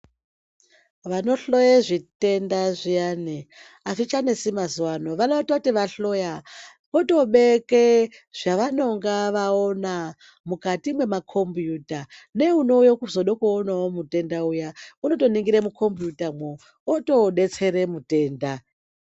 Vanohloye zvitenda zviyani azvichanesi mazuwaano vanototi vahloya votobeke zvavanonga vaona mukati mwemakombiyuta neunouye kuzoda kuonawo mutenda uya unotoningire mukombiyuta mwo otodetsere mutenda.